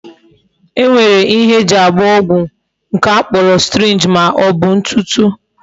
E nwere ihe eji agba ọgwụ nke a kpọrọ syringe ma ọbụ ntutu.